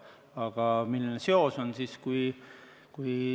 Aga milline seos on?